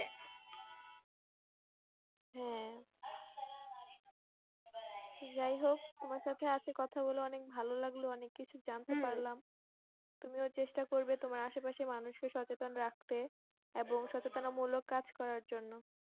হ্যাঁ যায় হোক তোমার সঙ্গে কথা বলে অনেক ভালো লাগলো অনেক কিছু জানতে পারলাম তুমি চেষ্টা করবে আসেপাশে মানুষ কে সচেতন রাখতে এবং সচেতন মূলক কাজ করার জন্য